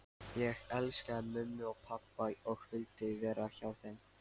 Ég elskaði mömmu og pabba og vildi vera hjá þeim.